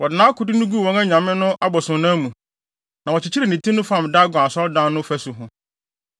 Wɔde nʼakode no guu wɔn anyame no abosonnan mu, na wɔkyekyeree ne ti no fam Dagon asɔredan no fasu ho.